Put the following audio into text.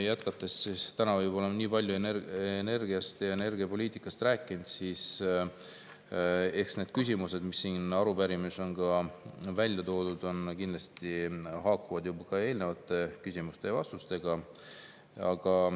Täna ma küll võib-olla olen nii palju energiast ja energiapoliitikast rääkinud, aga need küsimused, mis siin arupärimises on välja toodud, kindlasti haakuvad eelnenud küsimuste ja vastustega.